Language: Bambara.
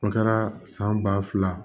A kɛra san ba fila